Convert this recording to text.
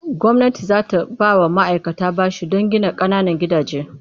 Gwamnati za ta ba wa ma'aikata bashi don gina ƙananan gidaje.